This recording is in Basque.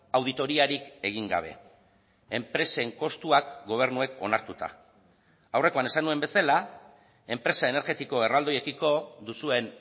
auditoriarik egin gabe enpresen kostuak gobernuek onartuta aurrekoan esan nuen bezala enpresa energetiko erraldoiekiko duzuen